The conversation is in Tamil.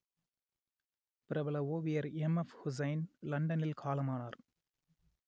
பிரபல ஓவியர் எம்ஃஎப்உசைன் லண்டனில் காலமானார்